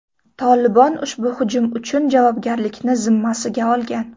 Tolibon ushbu hujum uchun javobgarlikni zimmasiga olgan.